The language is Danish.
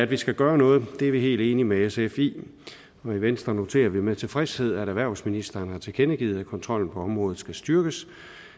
vi skal gøre noget det er vi helt enige med sf i og i venstre noterer vi med tilfredshed at erhvervsministeren har tilkendegivet at kontrollen på området skal styrkes